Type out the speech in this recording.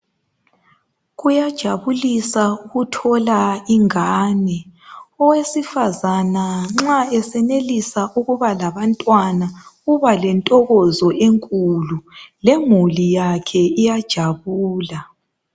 Kuyajabulisa ukuthola ingane, owesifazana nxa esenelisa ukuba labantwana uba lentokozo enkulu lemuli yakhe iyajabula.